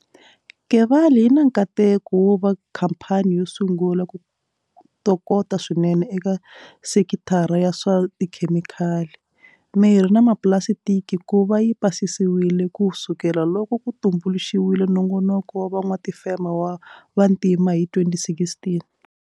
Kevali yi na nkateko wo va khampani yo sungula ku tokota swinene eka sekithara ya swa tikhemikhali, mirhi na mapulasitiki ku va yi pasisiwile ku sukela loko ku tumbuluxiwile Nongonoko wa Van'watifeme va Vantima hi 2016.